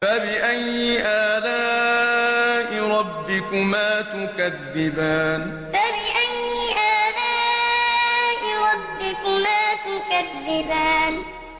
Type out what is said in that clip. فَبِأَيِّ آلَاءِ رَبِّكُمَا تُكَذِّبَانِ فَبِأَيِّ آلَاءِ رَبِّكُمَا تُكَذِّبَانِ